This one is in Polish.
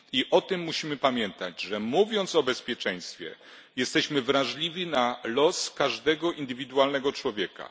I musimy pamiętać o tym, że mówiąc o bezpieczeństwie, jesteśmy wrażliwi na los każdego indywidualnego człowieka.